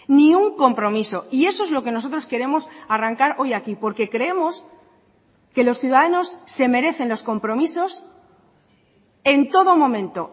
ni un compromiso y eso es lo que nosotros queremos arrancar hoy aquí porque creemos que los ciudadanos se merecen los compromisos en todo momento